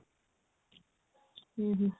ଉଁ ହୁଁ